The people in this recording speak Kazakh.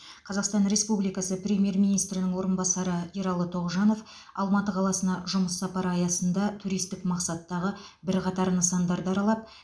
қазақстан республикасы премьер министрінің орынбасары ералы тоғжанов алматы қаласына жұмыс сапары аясында туристік мақсаттағы бірқатар нысандарды аралап